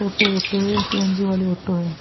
टोटो auto है। CNG. वाले auto है।